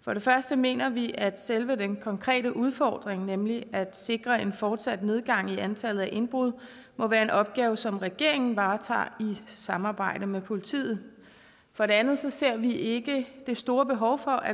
for det første mener vi at selve den konkrete udfordring nemlig at sikre en fortsat nedgang i antallet af indbrud må være en opgave som regeringen varetager i samarbejde med politiet for det andet ser vi ikke det store behov for at